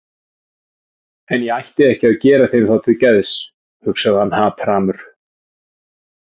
En ég ætti ekki að gera þeim það til geðs, hugsaði hann hatrammur.